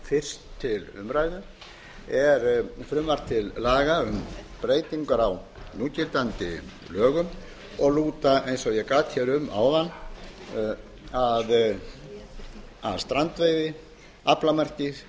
fyrst til umræðu er frumvarp til laga um breytingar á núgildandi lögum og lúta eins og ég gat um áðan að strandveiði aflamarki